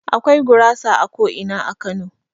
Akwai gurasa a ko'ina a Kano.